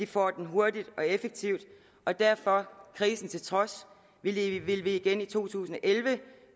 får den hurtigt og effektivt og derfor krisen til trods vil vi vil vi igen i to tusind og elleve